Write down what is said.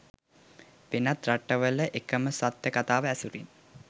වෙනත් රටවල එකම සත්‍ය කතාව ඇසුරින්